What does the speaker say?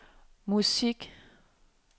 musik